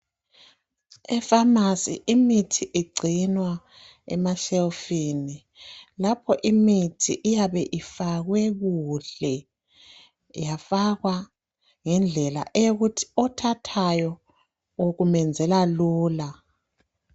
Efamasi imithi igcinwa emeshelufini lapho imithi iyabe ifake kuhle yafakwa ngendlela yokuthi othathayo kumenzela lula